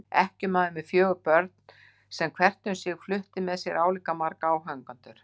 Ekkjumaður með fjögur börn sem hvert um sig flutti með sér álíka marga áhangendur.